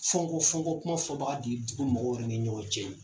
Fɔnkɔ fɔnkɔ kuma fɔ baga de ye ko mɔgɔw ka na kɛ ɲɔgɔn cɛ ye